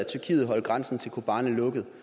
tyrkiet holder grænsen til kobani lukket